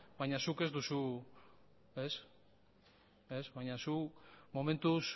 baina zuk ez duzu ez baina zu momentuz